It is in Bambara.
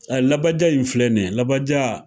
A labaja in filɛ nin ye, labaja.